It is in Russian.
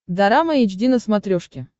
дорама эйч ди на смотрешке